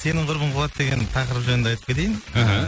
сенің құрбың қуады деген тақырып жөнінде айтып кетейін іхі